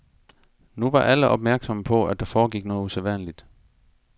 Nu var alle opmærksomme på, at der foregik noget usædvanligt.